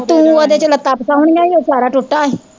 ਤੂੰ ਓਦੇ ਚ ਲੱਤਾਂ ਫਸਾਣੀਆਂ ਸੀ ਸਾਰਾ ਟੁੱਟਾ ਸੀ।